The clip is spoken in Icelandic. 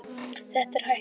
Þetta er hættulegt.